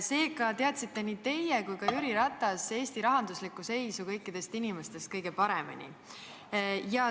Seega teadsite nii teie kui teadis ka Jüri Ratas Eesti rahanduslikku seisu kõikidest inimestest kõige paremini.